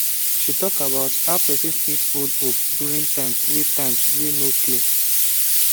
she talk about how person fit hold hope during times wey times wey no clear